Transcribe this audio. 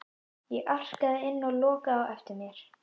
Ég arkaði inn og lokaði á eftir mér.